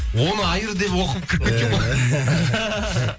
он айыр деп оқып кіріп кеткен ғой